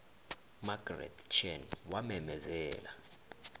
margaret chan wamemezela